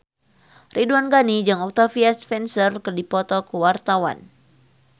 Ridwan Ghani jeung Octavia Spencer keur dipoto ku wartawan